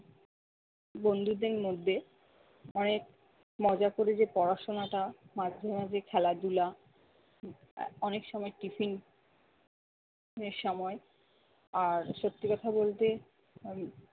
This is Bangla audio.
বন্ধুদের মধ্যে অনেক মজা করে যে পড়াশোনা টা মাঝে মাঝে খেলাধুলা আহ অনেক সময় tiffin এর সময়। আর সত্যি কথা বলতে উম